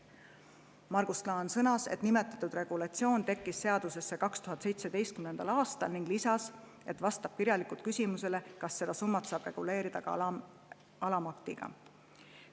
Margus Klaan sõnas, et nimetatud regulatsioon tekkis seadusesse 2017. aastal, ja kinnitas, et ta vastab kirjalikult küsimusele, kas seda summat saab reguleerida ka alamaktiga.